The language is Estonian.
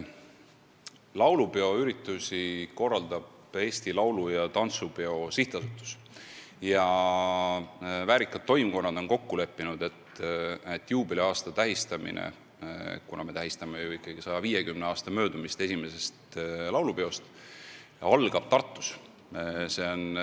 Laulupeo üritusi korraldab Eesti Laulu- ja Tantsupeo Sihtasutus ja väärikad toimkonnad on kokku leppinud, et kuna me tähistame ikkagi 150 aasta möödumist esimesest laulupeost, siis algab juubeli tähistamine Tartus.